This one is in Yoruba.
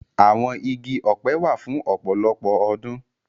Awọn igi ọpẹ wa fun ọpọlọpọ ọdun.